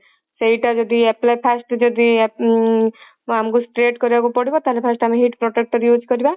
ସେଇଟା ଯଦି apply first ଯଦି ଉଁ ଆମକୁ straight କରିବାକୁ ପଡିବ ତାହେଲେ first ଆମେ heat protector use କରିବା